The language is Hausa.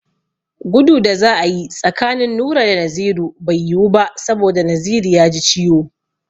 Gudu da za a yi tsakanin Nura da Naziru bai yiwu ba saboda Naziru ya ji ciwo.